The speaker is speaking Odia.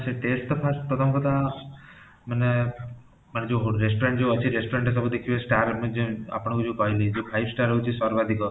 ସେ taste ତ first ପ୍ରଥମ କଥା ମାନେ ଯୋଉ restaurant ଯୋଉ ଅଛି restaurant ସବୁ ଦେଖିବେ star ମାନେ ଆପଣାକୁ ଯୋଉ କହିଲି ଯୋଉ five star ହଉଚି ସର୍ବାଧିକ